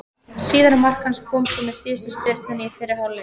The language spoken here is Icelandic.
Síðara mark hans kom svo með síðustu spyrnunni í fyrri hálfleik.